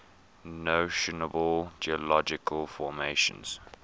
notable geological formations